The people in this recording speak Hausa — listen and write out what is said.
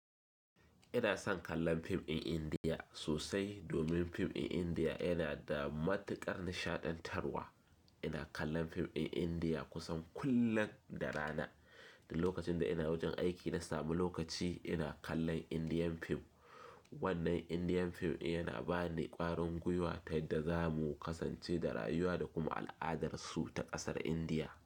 Ina son kallon fim in Indiya sosai domin fim in Indiya yana da matuƙar nishaɗantarwa. Ina kallon fim in Indiya kusan kullum da rana. Duk lokacin da ina wajen aiki na sami lokaci ina kallon Indiyan fim. Wannan Indiyan fim yana ba ni ƙwarin gwiwa ta yadda za mu kasance da rayuwa da kuma al'adar su ta ƙasar Indiya.